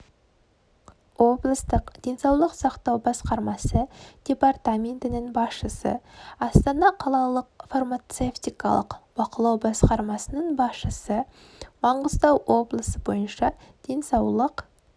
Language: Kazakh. облыстық денсаулық сақтау басқармасы департаментінің басшысы астана қалалық фармацевтикалық бақылау басқармасының басшысы маңғыстау облысы бойыншаденсаулық